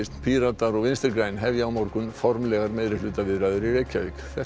Píratar og Vinstri græn hefja á morgun formlegar meirihlutaviðræður í Reykjavík þetta